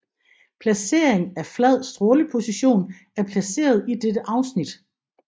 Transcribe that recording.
Placering af flad stråleposition er placeret i dette afsnit